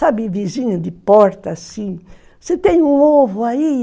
Sabe, vizinha de porta, assim, você tem um ovo aí?